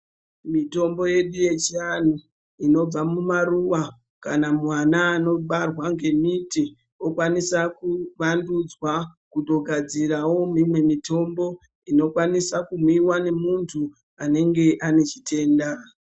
Mitombo yedu yechianhu, inobva mumaruva kana muana anobarwa ngemiti, okwanisa kuvandudzwa, kutogadzirawo imwe mitombo, inokwanisa kumwiwa ngemuntu anenge ane chitenda.